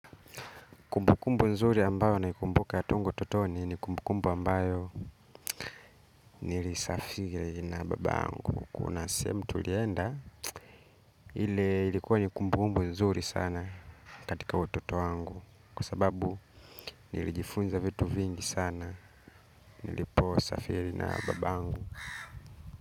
Kumbukumbu nzuri ambayo naikumbuka tangu utotoni ni kumbukumbu ambayo nilisafiri na babangu. Kuna sehemu tulienda ile ilikuwa ni kumbukumbu nzuri sana katika utoto wangu kwa sababu nilijifunza vitu vingi sana nilipo safiri na babangu.